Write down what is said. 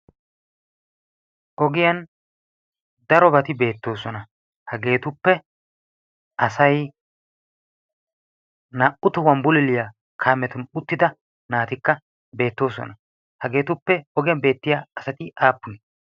ogiyan darobati beettoosona. hageetuppe asai naa'u tohuwan buliiliyaa kaametun uttida naatikka beettoosona. hageetuppe ogiyan beettiya asati aappunee?